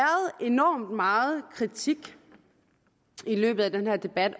enormt meget kritik i løbet af den her debat